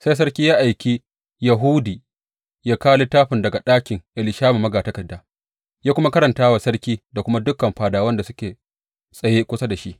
Sai sarki ya aiki Yehudi ya kawo littafin daga ɗakin Elishama magatakarda ya kuma karanta wa sarki da kuma dukan fadawan da suke tsaye kusa da shi.